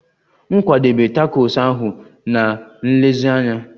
M kwadebe takos ahu na nlezianya